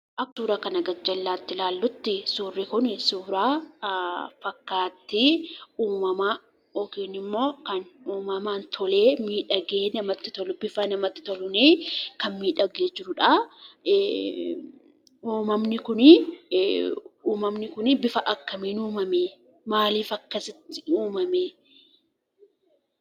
Akkuma suura gajjallaa kana irratti ilaallutti suurri Kun suura fakkaatti uummamaa yookiin immoo uummamaa tolee miidhagee bifa namatti toluun kan miidhagee jirudha. Uumamni Kun akkamitti akkasitti uumame? Haala kamiin akkasitti uumame?